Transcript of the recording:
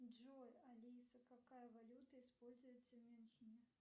джой алиса какая валюта используется в мюнхене